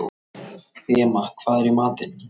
Fema, hvað er í matinn?